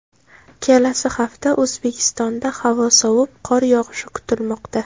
Kelasi hafta O‘zbekistonda havo sovib, qor yog‘ishi kutilmoqda.